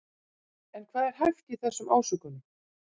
En hvað er hæft í þessum ásökunum?